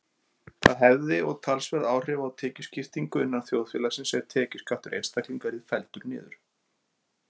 Það hefði og talsverð áhrif á tekjuskiptingu innan þjóðfélagsins ef tekjuskattur einstaklinga yrði felldur niður.